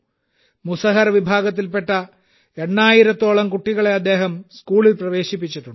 മുസഹർ വിഭാഗത്തിൽപ്പെട്ട എണ്ണായിരത്തോളം കുട്ടികളെ അദ്ദേഹം സ്കൂളിൽ പ്രവേശിപ്പിച്ചിട്ടുണ്ട്